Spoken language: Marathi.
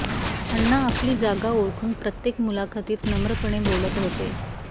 अण्णा आपली जागा ओळखून प्रत्येक मुलाखतीत नम्रपणे बोलत होते